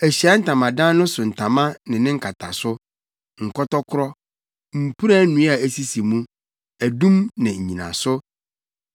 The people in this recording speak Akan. “Ahyiae Ntamadan no so ntama ne ne nkataso, nkɔtɔkoro, mpuran nnua a esisi mu, adum ne nnyinaso;